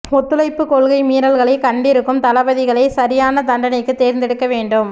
ஒத்துழைப்பு கொள்கை மீறல்களைக் கண்டிருக்கும் தளபதிகளை சரியான தண்டனைக்குத் தேர்ந்தெடுக்க வேண்டும்